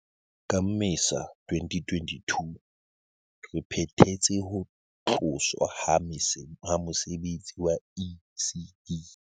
Ka Mmesa 2022, re phethetse ho tloswa ha mose betsi wa ECD.